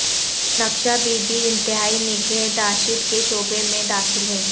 نکشہ بی بی انتہائی نگہداشت کے شعبے میں داخل ہے